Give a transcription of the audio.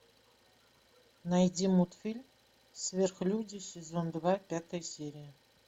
найди мультфильм сверхлюди сезон два пятая серия